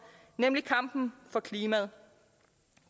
nemlig kampen for klimaet